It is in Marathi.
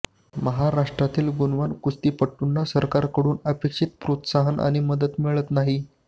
महाराष्ट्रातील गुणवान कुस्तीपटूंना सरकारकडून अपेक्षित प्रोत्साहन आणि मदत मिळत नाही